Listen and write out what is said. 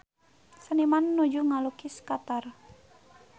Seniman nuju ngalukis Qatar